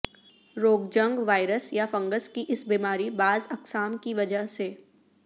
روگجنک virus یا fungus کی اس بیماری بعض اقسام کی وجہ سے